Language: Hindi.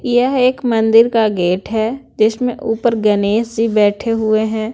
यह एक मंदिर का गेट है जिसमें ऊपर गणेश जी बैठे हुए हैं।